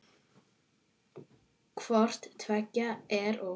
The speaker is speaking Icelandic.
Hvort tveggja er of mikið.